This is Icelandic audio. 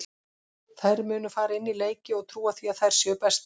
Þær munu fara inn í leiki og trúa því að þær séu bestar.